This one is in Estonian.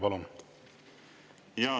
Palun!